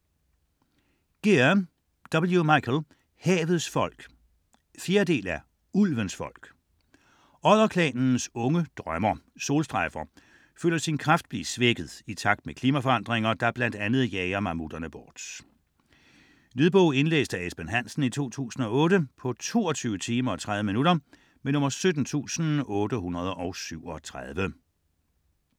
Gear, W. Michael: Havets folk 4. del af Ulvens folk. Odderklanens unge drømmer Solstrejfer føler sin kraft blive svækket i takt med klimaforandringer, der bl.a. jager mammutterne bort. Lydbog 17837 Indlæst af Esben Hansen, 2008. Spilletid: 22 timer, 30 minutter.